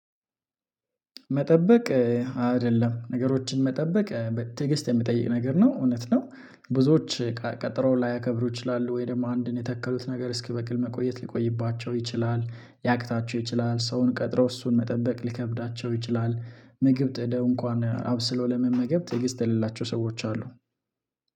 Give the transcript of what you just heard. መጠበቅ አይደለም ነገሮችን መጠበቅ ትግስት የሚጠይቅ ነገር ነው እውነት ነው ብዙዎች ቀጠሮ ላያከብሩ ይችላሉ ወይ ደግሞ አንድን የተከሉት ነገር እስኪበቅል መቆየት ሊቆይባቸው ይችላል፤ ያቅታቸው ይችላል፤ ሰውን ቀጥሮ እሱን መጠበቅ ልከብዳቸው ይችላል፤ ምግብ ጥደው እንኳን አብስሎ ለመመገብ ትዕግስት የሌላቸው ሰዎች አሉ፤።